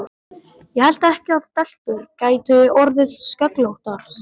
Ég hélt ekki að stelpur gætu orðið sköllóttar, sagði